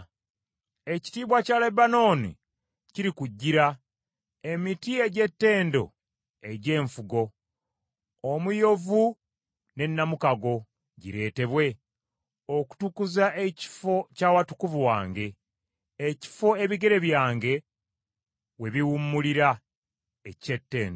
“Ekitiibwa kya Lebanooni kirikujjira, emiti egy’ettendo egy’enfugo, omuyovu ne namukago gireetebwe okutukuza ekifo eky’awatukuvu wange, ekifo ebigere byange we biwummulira eky’ettendo.